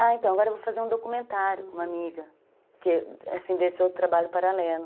Ah, então, agora eu vou fazer um documentário com uma amiga, que, desse outro trabalho paralelo.